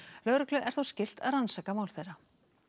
lögreglu er þó skylt að rannsaka mál þeirra